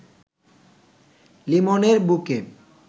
লিমনের বুকে